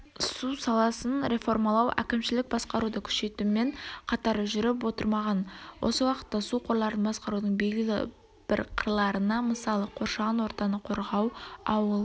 су саласын реформалау әкімшілік басқаруды күшейтумен қатар жүріп отырмаған осы уақытта су қорларын басқарудың белгілі бір қырларына мысалы қоршаған ортаны қорғау ауыл